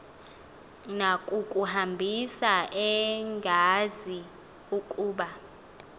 nakukuhambisa engazi ukuba